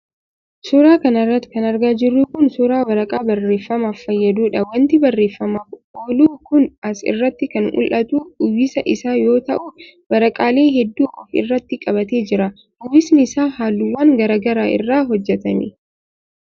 Suura kana irratti kan argaa jirru kun, suura waraqaa barreeffamaaf fayyaduudha. Wanti barreeffamaaf oolu kun as irratti kan mul'atu uwwisa isaa yoo ta'u, waraqaalee hedduu of irratti qabatee jira. Uwwisni isaa haalluuwwan garaa garaa irraa hojjatame.